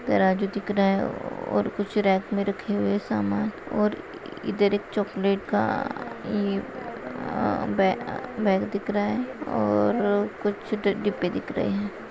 तराजू दिख रहा है और कुछ रेप मे रखे हुए सामान और इधर एक चॉकलेट का ये अ-अ एक बै बैग दिख रहा है और कुछ डिब्बे दिख रहे है।